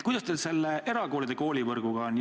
Kuidas erakoolide võrguga lood on?